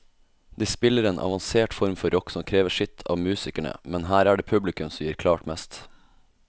De spiller en avansert form for rock som krever sitt av musikerne, men her er det publikum som gir klart mest.